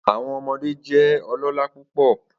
Awọn ọmọde jẹ ọlọla pupọ